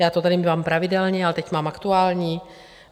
Já to tady mívám pravidelně, ale teď mám aktuální.